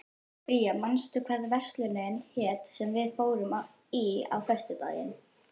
Bría, manstu hvað verslunin hét sem við fórum í á föstudaginn?